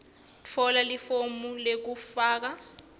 tfola lifomu lekufaka